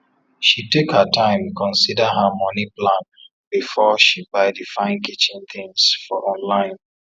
she take her time consider her money plan before she buy the fine kitchen things for online